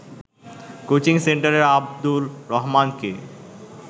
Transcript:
coaching সেন্টারের আব্দুর রহমানকে